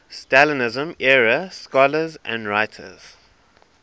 stalinism era scholars and writers